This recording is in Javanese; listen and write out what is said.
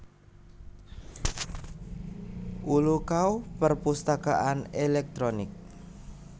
Ulukau Perpusatakaan elektronik